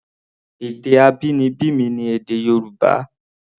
Èdè abínibí mi ni èdè Yorùbá.